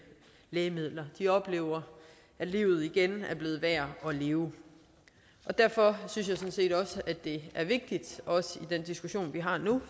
lægemidler de oplever at livet igen er blevet værd at leve derfor synes jeg sådan set også det er vigtigt også i den diskussion vi har nu